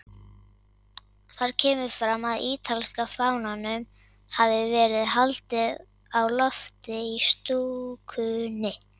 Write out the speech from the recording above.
Þar kemur fram að ítalska fánanum hafi verið haldið á lofti í stúkunni.